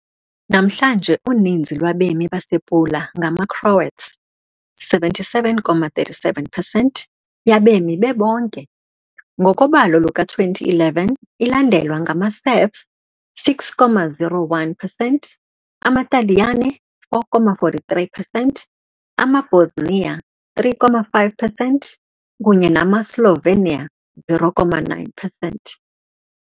Namhlanje uninzi lwabemi basePula ngamaCroats, 77.37 percent yabemi bebonke, ngokobalo luka-2011, ilandelwa ngamaSerbs, 6.01 percent, amaTaliyane, 4.43 percent, amaBosnia, 3, 5 percent kunye namaSlovenia, 0.9 percent.